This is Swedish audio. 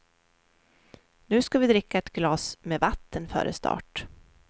Nu ska vi dricka ett glas med vatten före start.